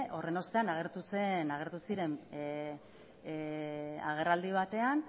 horren ostean agertu ziren agerraldi batean